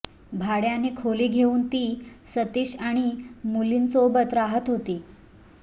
भाड्याने खोली घेऊन ती सतीश आणि मुलींसोबत राहत होती